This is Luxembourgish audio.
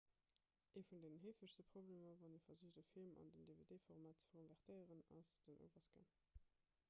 ee vun den heefegste problemer wann ee versicht e film an den dvd-format ze konvertéieren ass den overscan